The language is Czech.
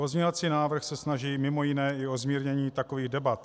Pozměňovací návrh se snaží mimo jiné i o zmírnění takových debat.